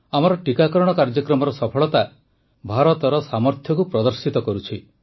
ଆମର ଟୀକାକରଣ କାର୍ଯ୍ୟକ୍ରମର ସଫଳତା ଭାରତର ସାମର୍ଥ୍ୟକୁ ପ୍ରଦର୍ଶିତ କରୁଛି